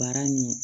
Baara nin